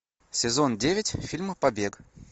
сезон девять фильма побег